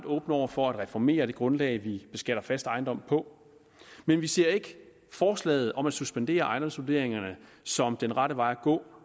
åbne over for at reformere det grundlag vi beskatter fast ejendom på men vi ser ikke forslaget om at suspendere ejendomsvurderingerne som den rette vej at gå